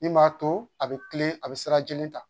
Min m'a to a bɛ kilen a bɛ sira jeli ta